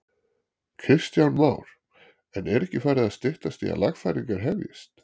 Kristján Már: En er ekki farið að styttast í að lagfæringar hefjist?